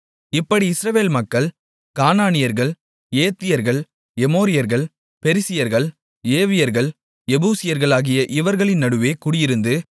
இப்படி இஸ்ரவேல் மக்கள் கானானியர்கள் ஏத்தியர்கள் எமோரியர்கள் பெரிசியர்கள் ஏவியர்கள் எபூசியர்களாகிய இவர்களின் நடுவே குடியிருந்து